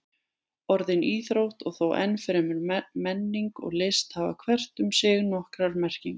Orðin íþrótt og þó enn fremur menning og list hafa hvert um sig nokkrar merkingar.